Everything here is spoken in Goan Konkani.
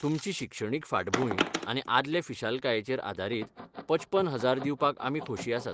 तुमची शिक्षणीक फाटभूंय आनी आदले फिशालकायेचेर आदारीत पचपन हजार दिवपाक आमी खोशी आसात.